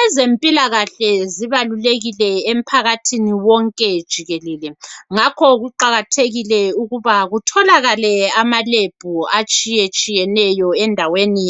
Ezempilakahle zibalulekile emphakathini wonke jikelele ngakho kuqakathekile ukuthi kutholakale amalab atshiye tshiyeneyo endaweni